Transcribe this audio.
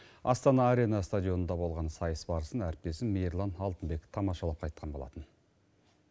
астана арена стадионында болған сайыс барысын әріптесім мейірлан алтынбек тамашалап қайтқан болатын